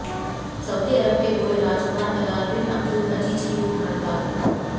Saudi Arab के बूढ़े राजकुमार तलाल बिन अब्दुल अज़ीज़ की भूख हड़ताल